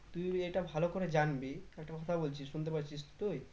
তুই এটা ভালো করে জানবি একটা কথা বলছি শুনতে পাচ্ছিস তো তুই?